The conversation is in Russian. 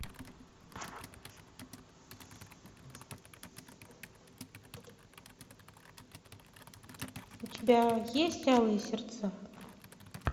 у тебя есть алые сердца